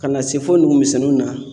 Ka na se fo nugu misɛninw na